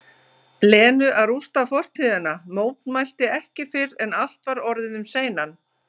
Lenu að rústa fortíðina, mótmælti ekki fyrr en allt var orðið um seinan.